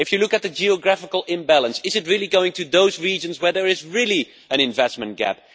If you look at the geographical imbalance, is it really going to those regions where there is an investment gap?